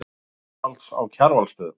Ósvalds á Kjarvalsstöðum.